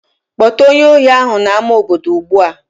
Kpọta onye ohi ahụ n'ama obodo ugbu a!